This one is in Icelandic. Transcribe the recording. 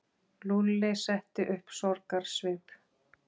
Lúlli setti upp sorgarsvip.